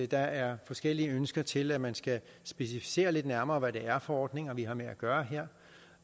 der er forskellige ønsker til at man skal specificere lidt nærmere hvad det er for ordninger vi har med at gøre her